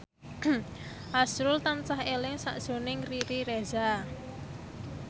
azrul tansah eling sakjroning Riri Reza